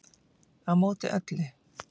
Á móti öllu